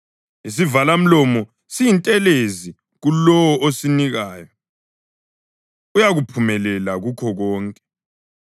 Isivalamlomo siyintelezi kulowo osinikayo; uyaphumelela kukho konke.